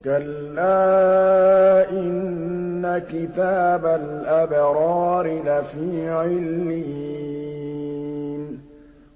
كَلَّا إِنَّ كِتَابَ الْأَبْرَارِ لَفِي عِلِّيِّينَ